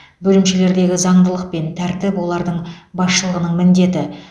бөлімшелердегі заңдылық пен тәртіп олардың басшылығының міндеті